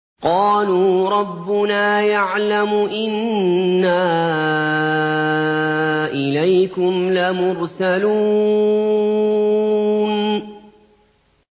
قَالُوا رَبُّنَا يَعْلَمُ إِنَّا إِلَيْكُمْ لَمُرْسَلُونَ